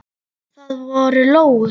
Það voru lóur.